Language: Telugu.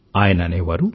ఆయన అనేవారు